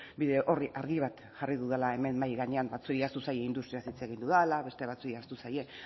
bide orri argi bat jarri dudala hemen mahai gainean batzuei ahaztu zaie industriaz hitz egin dudala beste batzuei ahaztu zaie